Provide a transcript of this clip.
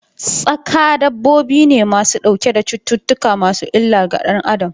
Tsaƙa dabbobi ne ma su ɗauke da cuttutuka masu illar ga danAdam.